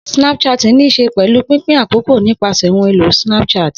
Snapchatting ní í ṣe pẹ̀lú pínpín àkókò nípasẹ̀ ohun èlò Snapchat.